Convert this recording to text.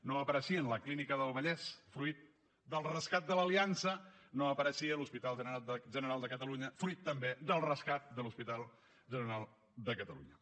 no apareixien la clínica del vallès fruit del rescat de l’aliança no apareixia l’hospital general de catalunya fruit també del rescat de l’hospital general de catalunya